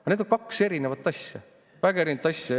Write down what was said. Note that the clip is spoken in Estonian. Aga need on kaks erinevat asja, väga erinevat asja.